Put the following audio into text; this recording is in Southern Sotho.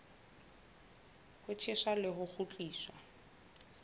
ho tjheswa le ho kgutliswa